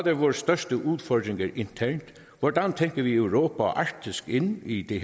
er vores største udfordringer internt hvordan tænker vi europa og arktis ind i det